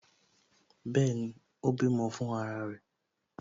Bẹẹni, ó bímọ fún ara rẹ̀